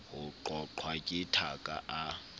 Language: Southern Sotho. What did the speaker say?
ho qoqwa ke thaka a